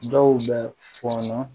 Dɔw bɛ fɔnɔ